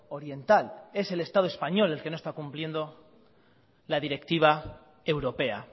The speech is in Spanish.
oriental es el estado español el que no está cumpliendo la directiva europea